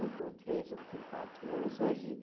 Um com três, um com quatro anos. Hoje